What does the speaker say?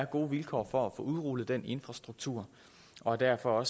gode vilkår for at få udrullet den infrastruktur og er derfor